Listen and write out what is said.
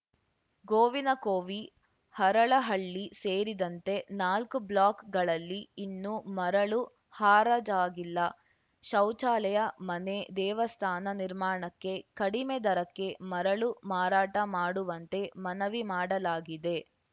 ಗೋವಿನಕೋವಿ ಹರಳಹಳ್ಳಿ ಸೇರಿದಂತೆ ನಾಲ್ಕು ಬ್ಲಾಕ್‌ಗಳಲ್ಲಿ ಇನ್ನೂ ಮರಳು ಹರಾಜಾಗಿಲ್ಲ ಶೌಚಾಲಯ ಮನೆ ದೇವಸ್ಥಾನ ನಿರ್ಮಾಣಕ್ಕೆ ಕಡಿಮೆ ದರಕ್ಕೆ ಮರಳು ಮಾರಾಟ ಮಾಡುವಂತೆ ಮನವಿ ಮಾಡಲಾಗಿದೆ